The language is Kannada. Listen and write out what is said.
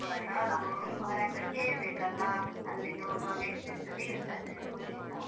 ಹ ಹೌದು ಅವರತ್ರ ಕೇಳ್ಬೇಕಲ್ಲ ಅಲ್ಲಿಗೆ ಹೋಗುವಾಗ ಎಷ್ಟು ಎಷ್ಟು ಬೀಳ್ತದೆ ನಮಗೆಲ್ಲ.